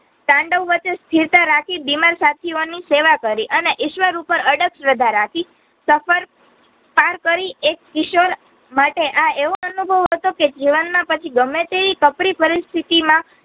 તંડાવ વચ્હે સ્થિરતા રાખી બીમાર સાથિયોની સેવા કરી અને ઈશ્વર ઉપર અધક શ્રદ્ધા રાખી સફર પાર કરી એક કિશોરમાટે આ એવો અનુભવ હતો કે જીવનમાં પછી ગમ્મેતે ઈ કપરી પરિસ્થિતિ માં